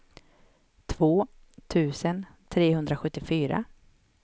två tusen trehundrasjuttiofyra